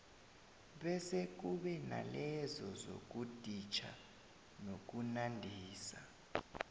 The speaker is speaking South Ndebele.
bese kube nalezo zokuditjha nokunandisa